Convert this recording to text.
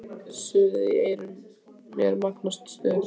Suðið í eyrum mér magnast stöðugt.